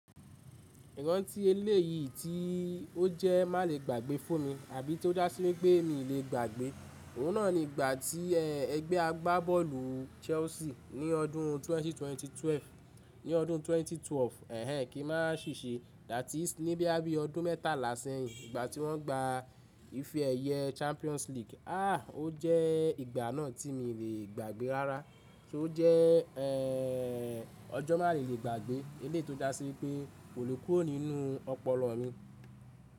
Ìrántí elèyìi tí ó jẹ́ má lè gbàgbé fún mi àbí tó dá sí wipé mi le gbàgbé. Òun náà ni ìgbà tí ẹgbẹ́ agbábọ́ọ̀lù Chelsea ní ọdún ẹgbẹ̀rún méjì ó lé méjìlá, ní ọdún ẹgbẹ̀rún méjì ó lé méjìlá, ẹhn ẹn, ki má sì ṣe, that is, ní boya bi ọdún mẹ́tàlá sẹ́yìn ìgbà tí wọ́n gba ifẹ ẹyẹ Champions League. Ah! Ó jẹ́ ìgbà náà tí mo lè gbàgbé rárá, tí ó jẹ́ ẹẹẹẹ ọjọ́ má lè gbàgbé elèyìi tó dá sí pé kò lè kúrò nínú ọpọlọ mi.